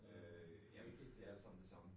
Øh ja men det alt sammen det samme